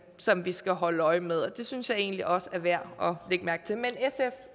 som vi skal holde øje med og det synes jeg egentlig også er værd